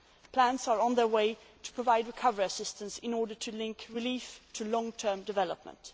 Plans are under way to provide recovery assistance in order to link relief to long term development.